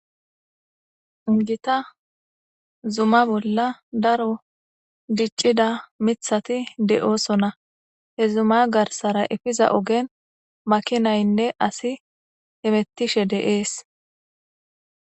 gita zuma bolla daro diccida mithati de'oosona he zuma garsara efiza ogen makinaynne asi hemettishe de'es